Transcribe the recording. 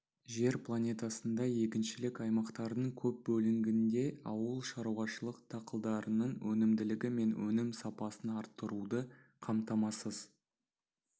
жер планетасында егіншілік аймақтардың көп бөлігінде ауыл шаруашылық дақылдарының өнімділігі мен өнім сапасын арттыруды қамтамасыз